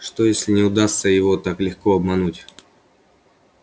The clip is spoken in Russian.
что если не удастся его так легко обмануть